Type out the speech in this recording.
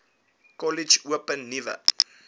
kollege open nuwe